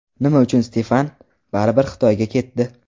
Nima uchun Stefan baribir Xitoyga ketdi?